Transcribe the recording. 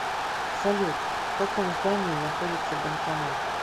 салют в каком здании находится банкомат